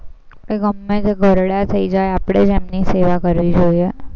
તે ગમે તેમ ઘરડા થઇ જાય, આપણે જ એમની સેવા કરવી જોઈએ.